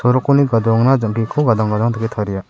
rokni gadoangna jang·kiko gadang gadang dake taria.